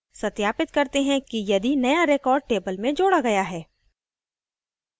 सत्यापित करते है कि यदि नया record table में जोडा गया है